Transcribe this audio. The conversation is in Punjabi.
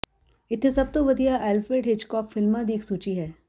ਇੱਥੇ ਸਭ ਤੋਂ ਵਧੀਆ ਆਲਫ੍ਰੈਡ ਹਿਚਕੌਕ ਫਿਲਮਾਂ ਦੀ ਇੱਕ ਸੂਚੀ ਹੈ